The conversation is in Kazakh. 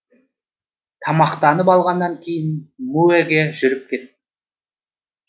тамақтанып алғаннан кейін муэге жүріп кеттім